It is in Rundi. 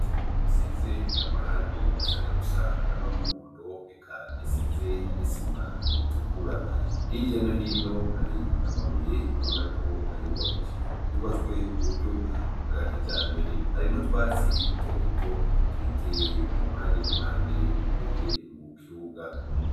inzu isize amarangi ashaka gusa n'umuhondo reka isize n'isima itukura hiryo no hino hari amabuye ubonako ayubakishijwe yubatswe uburyo bwa kijambere hari n'utwatsi duto duto duteye impande n'impande imbere mu kibuga